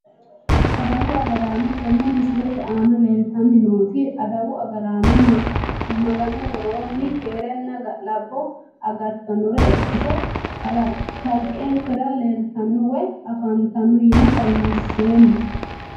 Adawu agaraano tini misilete aana leeltani nooti adawu agaraano maganu woroo keerenna ga`labo agartanore ikite kalqenkera leeltao woyi afantano yine xawinseemo.